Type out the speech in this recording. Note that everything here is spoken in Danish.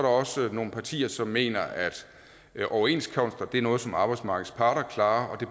også nogle partier som mener at overenskomster er noget som arbejdsmarkedets parter klarer og at